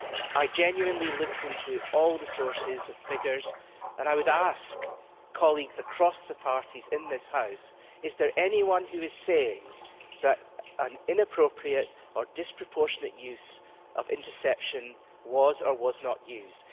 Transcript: I genuinely looked into all the sources and figures, and I would ask colleagues across the parties in this House is there anyone who is saying that an inappropriate or disproportionate use of interception was or was not used?